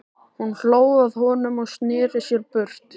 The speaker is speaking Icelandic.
Hún hló að honum og sneri sér burt.